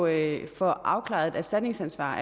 at få afklaret et erstatningsansvar